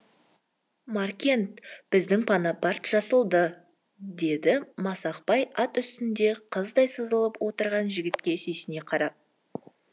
маркен біздің бонапарт жазылды деді масақбай ат үстінде қыздай сызылып отырған жігітке сүйсіне қарап